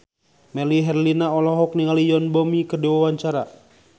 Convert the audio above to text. Melly Herlina olohok ningali Yoon Bomi keur diwawancara